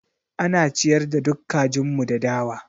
Ana ciyar da duk kajin mu da dawa.